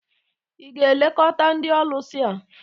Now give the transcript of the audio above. ị ga-elekọta ndị ọlụsị a?